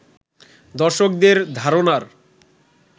দর্শকদের ধারণার